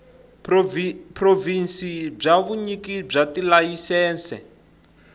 provhinsi bya vunyiki bya tilayisense